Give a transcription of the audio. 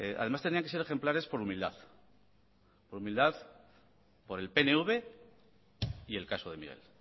además tenían que ser ejemplares por humildad por el pnv y el caso de miguel